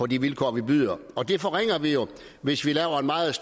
de vilkår vi byder og det forringer vi jo hvis vi laver en meget